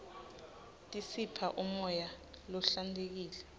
tisipha umoya lohlantekile